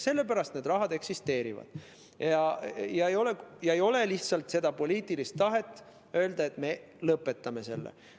Sellepärast see raha eksisteerib ja ei ole lihtsalt poliitilist tahet öelda, et me lõpetame selle.